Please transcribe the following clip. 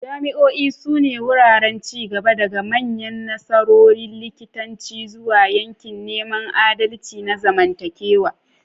Jami'o'i sune wuraren ci gaba, daga manyan nasarorin likitanci zuwa yakin neman adalci na zamantakewa.